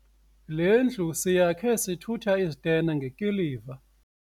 Le ndlu siyakhe sithutha izitena ngekiliva.